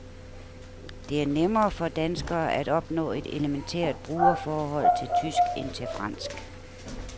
Det er nemmere for danskere at opnå et elementært brugerforhold til tysk end til fransk.